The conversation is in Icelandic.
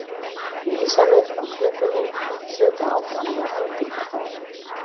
Vísarnir á klukkunni þutu áfram með eldingarhraða.